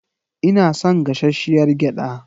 Ina son gashashshiyar gyada.